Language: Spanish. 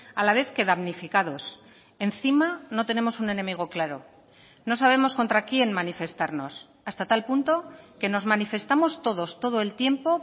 a la vez que damnificados encima no tenemos un enemigo claro no sabemos contra quién manifestarnos hasta tal punto que nos manifestamos todos todo el tiempo